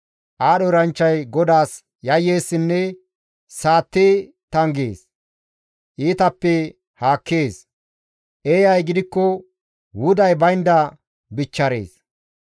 Aadho eranchchay GODAAS yayyeessinne saatti tanggees; iitappeka haakkees; eeyay gidikko wuday baynda bichcharees.